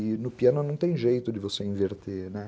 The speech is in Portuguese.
E no piano não tem jeito de você inverter, né.